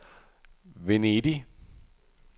Venedig